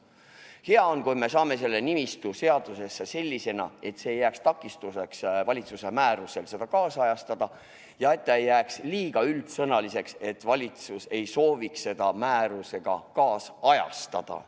Hea on, kui me saame selle nimistu seadusesse sellisena, et see ei jääks takistuseks, kui tahetakse valitsuse määrusega seda loetelu ajakohastada, ning et ta ei jääks liiga üldsõnaliseks, nii et valitsus ei sooviks seda määrusega ajakohastada.